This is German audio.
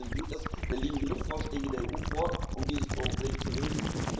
Bei gutem Willen geht das, es liegen genug Vorschläge der EU vor, um dieses Problem zu lösen.